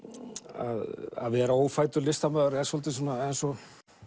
að vera ófæddur listamaður er svolítið eins og